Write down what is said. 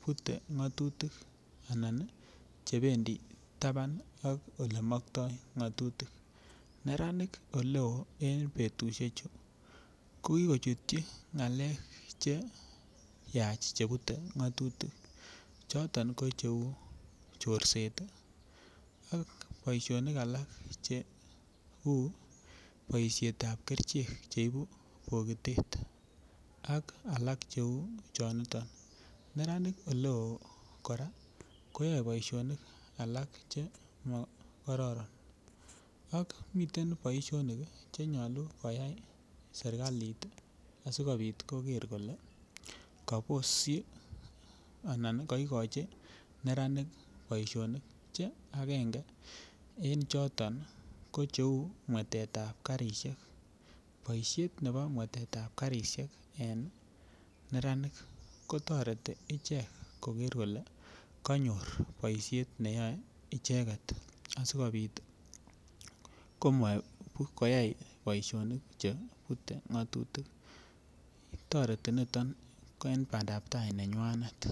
Bute ngatutik Che bendi taban en ngatutik neranik Oleo en betusiechu ko ki kochutyi ngalek Che Bute ngatutik choton ko cheu chorset ak boisionik alak Cheu boisiet ab kerichek Che ibu bogitet ak alak Cheu choniton neranik Oleo kora koyoe boisionik alak Che mo karoron ak miten boisionik Che nyolu koyai serkalit asi koger kole kabosyi anan kaigochi neranik boisionik Che agenge en choto ko cheu chebo mwetetab karisiek en neranik kotoreti ichek koger kole kanyor boisiet neyoe icheget asikobit komat koyai boisionik Che Bute ngatutik toreti niton en bandap tai nenywanet